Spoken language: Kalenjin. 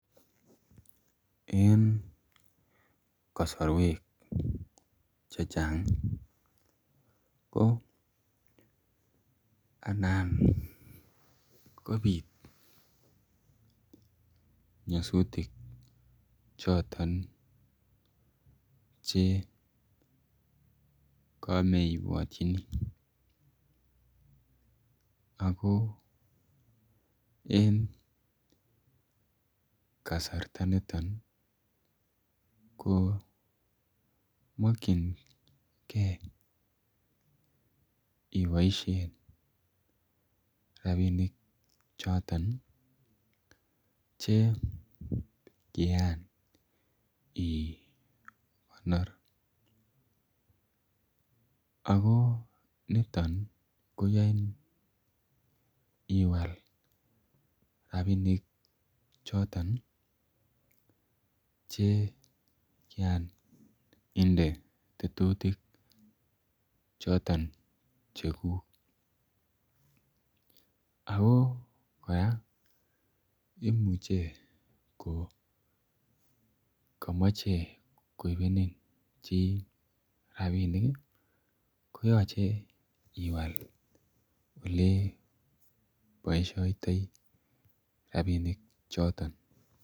Eng kasarweek che chaang ii ko anan kobiit nyasutiik chotoon che kame ibwatyini ako eng kasarta nitoon ko makyingei iboisien rapinik chotoon che kiyaan igonoor ako nitoon ii koyain kwaal rapinik chotoon che kiyaan inde tetutik chotoon che guug ako kora imuche ko kamache koibenin chii rapinik ii koyachei iwaal ole boisiotoi rapinik chotoon.